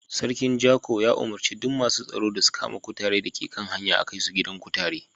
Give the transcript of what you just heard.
Sarkin Jako ya umurce masun tsaro su kama duk kutare da ke hanya a'kai su gidan kutare.